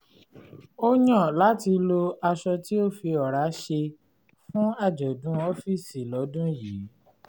ó yàn láti lo aṣọ tí a fi ọ̀rá ṣe fún àjọ̀dún ọ́fíìsì lọ́dún yìí